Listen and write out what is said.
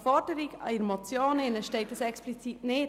Aber in der Motionsforderung steht das explizit nicht.